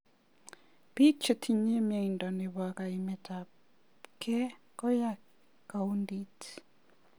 Bik chetinye mnyendo nebo kaimetabkei koya kundit.